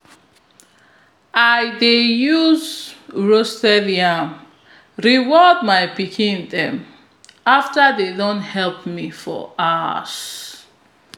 i dey use roasted yam reward my pikin dem fter dem don help me for hours